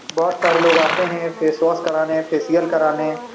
बहुत सारे लोग आते हैं फेश वॉश कराने फेशियल कराने।